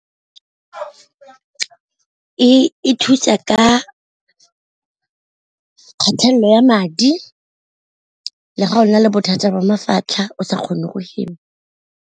E thusa ka kgatelelo ya madi le ga o na le bothata ba mafatlha o sa kgone go hema.